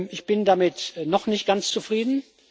Ich bin damit noch nicht ganz zufrieden.